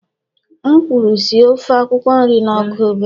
M kwuru sie ofe akwukwo nri na ọkụ obere!